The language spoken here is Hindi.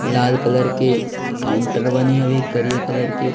लाल कलर के काउंटर बने अभी ग्रे कलर के।